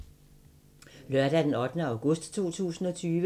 Lørdag d. 8. august 2020